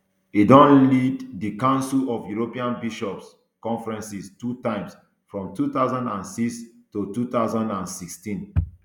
e don lead di council of european bishops conferences two times from two thousand and six to two thousand and sixteen